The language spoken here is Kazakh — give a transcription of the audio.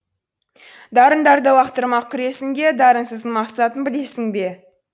дарындарды лақтырмақ күресінге дарынсыздың мақсатын білесің бе